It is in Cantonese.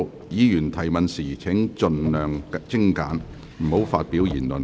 議員提問時請盡量精簡，不要發表議論。